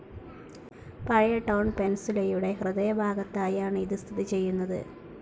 പഴയ ടൌൺ പെൻസുലയുടെ ഹൃദയഭാഗത്തായാണ് ഇത് സിഥിതിചെയുനത്.